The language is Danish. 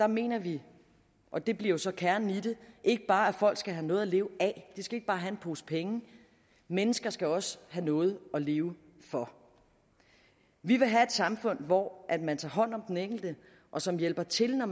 mener vi og det bliver jo så kernen i det ikke bare at folk skal have noget at leve af de skal ikke bare have en pose penge mennesker skal også have noget at leve for vi vil have et samfund hvor man tager hånd om den enkelte og som hjælper til når